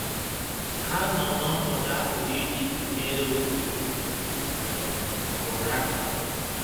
Ha nọ n’ọnọdụ a pụrụ iji tụnyere oké um ụra